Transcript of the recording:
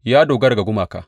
Ya dogara ga gumaka.